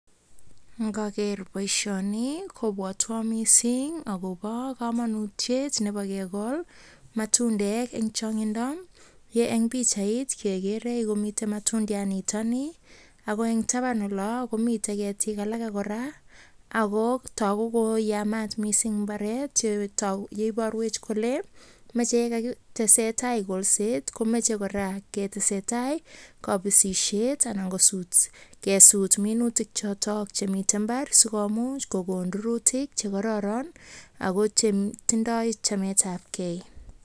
Ngoker boisioni kobwotwon missing akobo kamanutiet nebo kekol matundek en chong'indo ye en pichait kekere komiten matundiat nitok nii ako en taban komiten ketik alake kora ako togu kole yamat missing mbaret akoiborwech kole moche yakakitesetai boisiet komoche kora ketesetai kabisisiet anan kesut minutik choto chemiten mbaar sikomuch kokon rurutik chekororon ak chetindoi chametabgei.